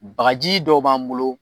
Bakaji dɔ b'an bolo